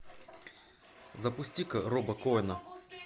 запусти ка роба коэна